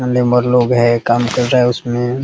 यहाँ लेबर लोग है उसमे काम कर रहे हैं |